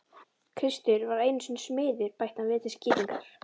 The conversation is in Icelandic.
Kristur var einu sinni smiður bætti hann við til skýringar.